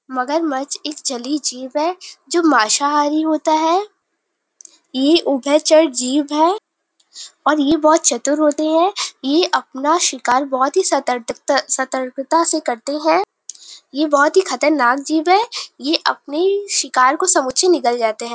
मगरमच्छ एक जलीय जीव है जो मांसाहारी होता है। ये उभयचर जीव है और ये बहोत चतुर होते है। ये अपना शिकार बहोत ही सतर्क सतर्कता से करते है। ये बहोत खतरनाक जीव है। ये अपने शिकार को समूचे निगल जाते है।